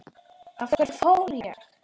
Af hverju fór ég?